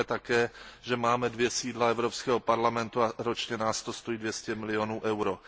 A víme také, že máme dvě sídla Evropského parlamentu a ročně nás to stojí 200 milionů EUR.